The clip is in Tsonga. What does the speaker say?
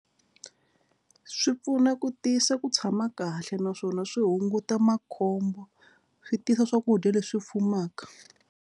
Swi pfuna ku tisa ku tshama kahle naswona swi hunguta makhombo swi tisa swakudya leswi fumaka.